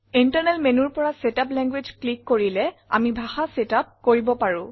internal Menuৰ পৰা setup language click কৰিলে আমি ভাষা ছেটআপ কৰিব পাৰো